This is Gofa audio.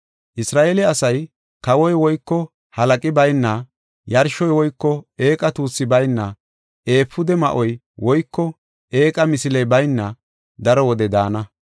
Isra7eele asay kawoy woyko halaqi bayna, yarshoy woyko eeqa tuussi bayna, efuude ma7oy woyko eeqa misiley bayna daro wode daana.